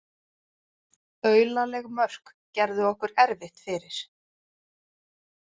Aulaleg mörk gerðu okkur erfitt fyrir